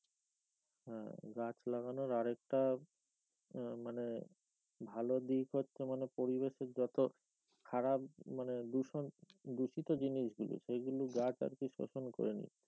হ্যাঁ, গাছ লাগানোর আরেকটাআহ মানে ভালো দিক হচ্ছে মানে পরিবেশের যত খারাপ মানে দূষণ দূষিত জিনিস গুলি সেগুলো গাছ আর কি শোষণ করে নিচ্ছে।